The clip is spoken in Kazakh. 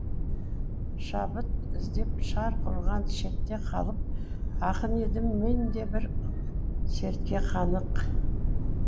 шабыт іздеп шарқ ұрған шетте қалып ақын едім мен де бір сертке қанық